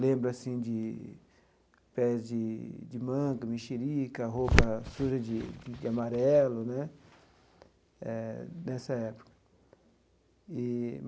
Lembro assim de pés de de manga, mexerica, roupa suja de de amarelo né, eh nessa época eee.